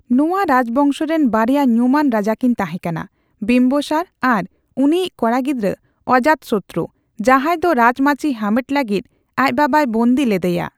ᱱᱚᱣᱟ ᱨᱟᱡᱽᱵᱚᱝᱥᱚ ᱨᱤᱱ ᱵᱟᱨᱭᱟ ᱧᱩᱢᱟᱱ ᱨᱟᱡᱟᱠᱤᱱ ᱛᱟᱦᱮᱸ ᱠᱟᱱᱟ ᱵᱤᱸᱵᱟᱥᱟᱨ ᱟᱨ ᱩᱱᱤᱭᱤᱡ ᱠᱚᱲᱟ ᱜᱤᱫᱽᱨᱟᱹ ᱚᱡᱟᱛᱥᱩᱛᱨᱩ, ᱡᱟᱦᱟᱸᱭ ᱫᱚ ᱨᱟᱡᱽᱢᱟᱹᱪᱤ ᱦᱟᱢᱮᱴ ᱞᱟᱹᱜᱤᱫ ᱟᱡ ᱵᱟᱵᱟᱭ ᱵᱚᱱᱫᱤ ᱞᱮᱫᱮᱭᱟ ᱾